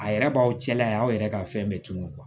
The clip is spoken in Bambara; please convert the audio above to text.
A yɛrɛ b'aw cɛla ye aw yɛrɛ ka fɛn bɛɛ tunun